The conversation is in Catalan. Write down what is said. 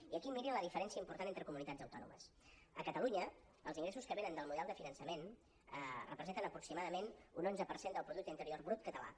i aquí mirin la diferència important entre comunitats autònomes a catalunya els ingressos que venen del model de finançament representen aproximadament un onze per cent del producte interior brut català